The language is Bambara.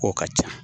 K'o ka ca